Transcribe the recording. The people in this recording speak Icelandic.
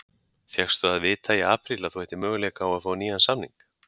Fékkstu að vita í apríl að þú ættir möguleika á að fá nýjan samning?